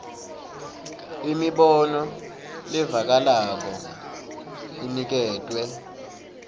imibono levakalako iniketwe